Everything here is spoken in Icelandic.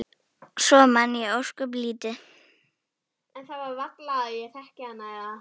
Svo man ég ósköp lítið.